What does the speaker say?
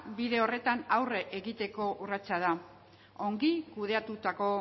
bide horretan aurre egiteko urratsa da ongi kudeatutako